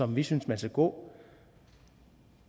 vi synes man skal gå